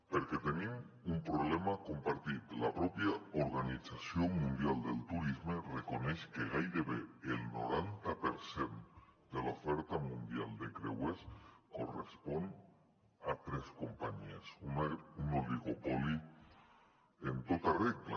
perquè tenim un problema compartit la pròpia organització mundial del turisme reconeix que gairebé el noranta per cent de l’oferta mundial de creuers correspon a tres companyies un oligopoli en tota regla